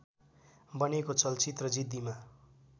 बनेको चलचित्र जिद्दीमा